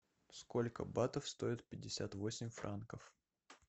сколько батов стоит пятьдесят восемь франков